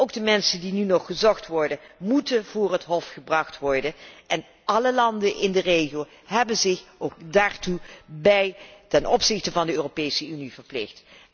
Ook de mensen die nu nog gezocht worden, moeten voor het Hof gebracht worden en alle landen in de regio hebben zich daartoe ten opzichte van de Europese Unie verplicht.